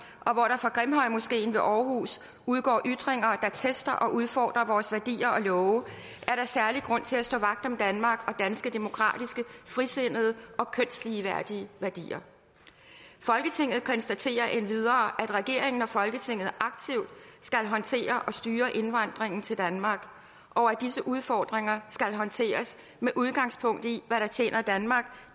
og hvor der fra grimhøjmoskeen ved aarhus udgår ytringer der tester og udfordrer vores værdier og love er der særlig grund til at stå vagt om danmark og danske demokratiske frisindede og kønsligeværdige værdier folketinget konstaterer endvidere at regeringen og folketinget aktivt skal håndtere og styre indvandringen til danmark og at disse udfordringer skal håndteres med udgangspunkt i hvad der tjener danmark